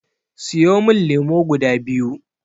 Siyo min lemo guda biyu.